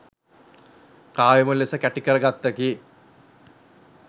කාව්‍යමය ලෙස කැටිකර ගත්තකි.